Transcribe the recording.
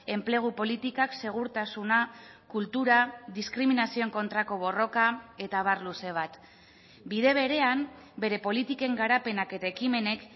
enplegu politikak segurtasuna kultura diskriminazioen kontrako borroka eta abar luze bat bide berean bere politiken garapenak eta ekimenek